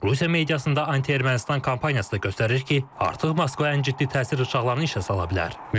Rusiya mediasında anti-Ermənistan kampaniyası göstərir ki, artıq Moskva ən ciddi təsir rıçaqlarını işə sala bilər.